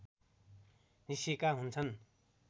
निस्केका हुन्छन्